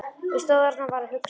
Ég stóð þarna og var að hugsa.